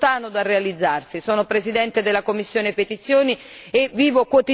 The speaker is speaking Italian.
Il problema è che non è stato ancora realizzato ed è lontano dal realizzarsi.